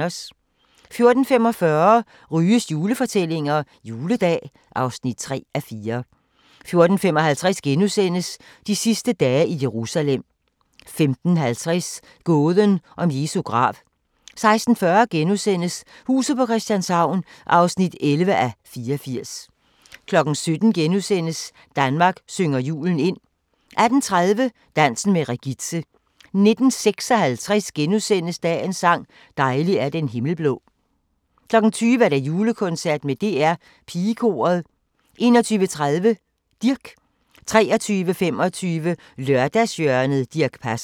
14:45: Ryges julefortællinger – Juledag (3:4) 14:55: De sidste dage i Jerusalem * 15:50: Gåden om Jesu grav 16:40: Huset på Christianshavn (11:84)* 17:00: Danmark synger julen ind * 18:30: Dansen med Regitze 19:56: Dagens sang: Dejlig er den himmel blå * 20:00: Julekoncert med DR Pigekoret 21:30: Dirch 23:25: Lørdagshjørnet - Dirch Passer